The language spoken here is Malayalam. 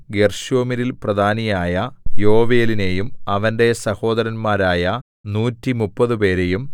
ഗെർശോമ്യരിൽ പ്രധാനിയായ യോവേലിനെയും അവന്റെ സഹോദരന്മാരായ നൂറ്റിമുപ്പതുപേരെയും 130